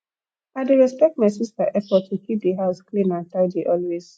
i dey respect my sister effort to keep the house clean and tidy always